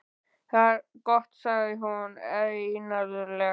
Það er gott sagði hún einarðlega.